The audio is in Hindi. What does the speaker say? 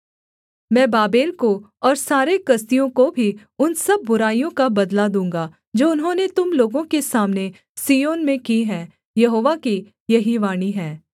मैं बाबेल को और सारे कसदियों को भी उन सब बुराइयों का बदला दूँगा जो उन्होंने तुम लोगों के सामने सिय्योन में की है यहोवा की यही वाणी है